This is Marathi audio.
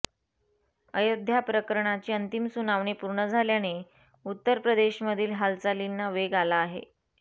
अयोध्या प्रकरणाची अंतिम सुनावणी पूर्ण झाल्याने उत्तर प्रदेशमधील हालचालींना वेग आला आहे